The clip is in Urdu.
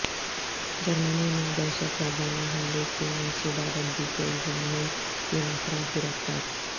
جرمنی میں دہشت گردانہ حملے کی منصوبہ بندی کے الزام میں تین افراد گرفتار